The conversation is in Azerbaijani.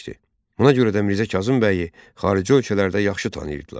Buna görə də Mirzə Kazım bəyi xarici ölkələrdə yaxşı tanıyırdılar.